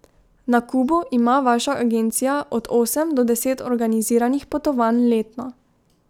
Na Kubo ima vaša agencija od osem do deset organiziranih potovanj letno.